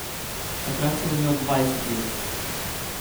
Takrat sem imel dvajset let.